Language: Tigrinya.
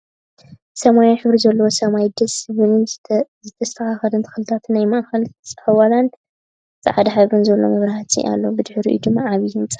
ሰማያዊ ሕብሪ ዘለዎ ሰማይ ደስ ዝብልን ዝተስተካከሉ ተክልታትን ናይ ማእከል ፃውላን ፃዕዳ ሕብሪ ዘለዎ ማብራህትን ኣሎ። ብድሕሪኡ ድማ ዓብይ ህንፃ ኣሎ።